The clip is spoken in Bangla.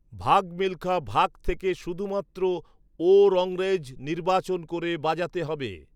ভাগ মিল্খা ভাগ থেকে শুধুমাত্র 'ও রংরেজ' নির্বাচন করে বাজাতে হবে